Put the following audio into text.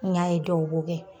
N y'a ye dɔw b'o kɛ.